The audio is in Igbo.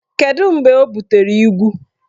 Kedu mgbe o butere igwu?